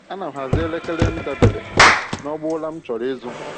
Ana m hazie elekere m dabere n’ọgbọ ụra m chọrọ izu.